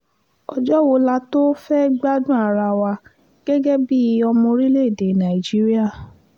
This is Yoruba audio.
ọjọ́ wo la tóò fẹ́ẹ́ gbádùn ara wa gẹ́gẹ́ bíi ọmọ orílẹ̀‐èdè nàíjíríà